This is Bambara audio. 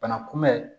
Bana kunbɛn